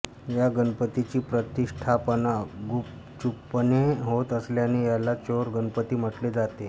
या गणपतीची प्रतिष्ठापना गुपचूपपणे होत असल्याने याला चोर गणपती म्हटले जाते